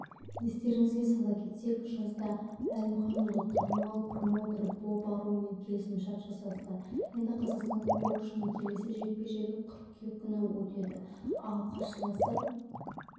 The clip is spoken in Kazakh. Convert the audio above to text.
естеріңізге сала кетсек жазда әлімханұлы танымал промоутер боб аруммен келісімшарт жасасты енді қазақстандық боксшының келесі жекпе-жегі қыркүйек күні өтеді ал қарсыласы